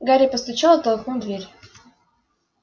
гарри постучал и толкнул дверь